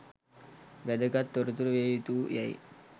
වැදගත් තොරතුරු විය යුතු යැයි